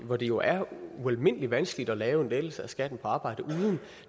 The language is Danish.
hvor det jo er ualmindelig vanskeligt at lave en lettelse af skatten på arbejde uden